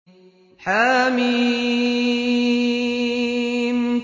حم